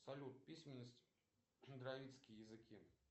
салют письменность дровицкие языки